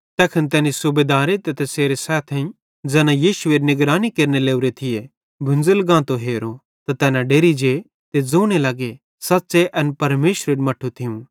तैखन तैनी सूबेदारे ते तैसेरे सैथेइं ज़ैन यीशुएरी निगरानी केरने लोरे थिये भुंज़ल गांतो हेरो त तैना डेरि जे ते ज़ोने लग्गे सच़्च़े एन परमेशरेरू मट्ठू थियूं